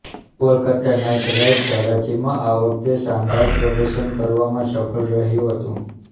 Kolkata Knight Riders હરાજીમાં આ વખતે શાનદાર પ્રદર્શન કરવામાં સફળ રહ્યું હતું